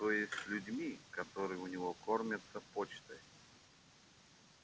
то есть с людьми которые у него кормятся почтой